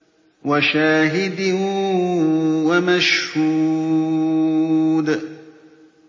وَشَاهِدٍ وَمَشْهُودٍ